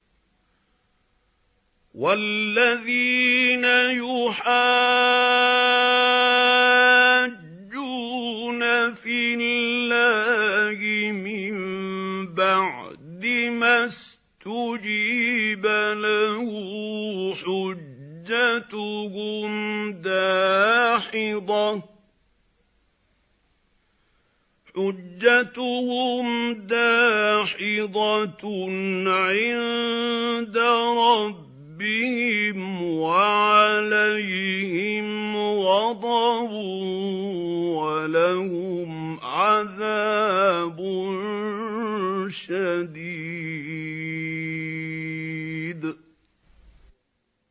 وَالَّذِينَ يُحَاجُّونَ فِي اللَّهِ مِن بَعْدِ مَا اسْتُجِيبَ لَهُ حُجَّتُهُمْ دَاحِضَةٌ عِندَ رَبِّهِمْ وَعَلَيْهِمْ غَضَبٌ وَلَهُمْ عَذَابٌ شَدِيدٌ